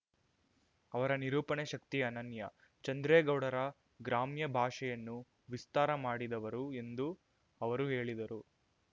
ಅವರ ನಿರೂಪಣೆ ಶಕ್ತಿ ಅನನ್ಯ ಚಂದ್ರೇಗೌಡರ ಗ್ರಾಮ್ಯ ಭಾಷೆಯನ್ನು ವಿಸ್ತಾರ ಮಾಡಿದವರು ಎಂದು ಅವರು ಹೇಳಿದರು